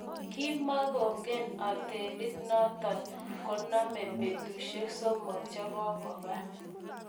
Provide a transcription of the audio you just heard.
ki kimeng'en otelit noto koname betusiek somok che kokuba